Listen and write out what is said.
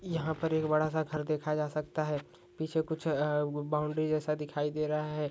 यहा पर एक बड़ा सा घर देखा जा सकता है पीछे कुछ बाउन्ड्री जेसा दिखाई दे रहा है।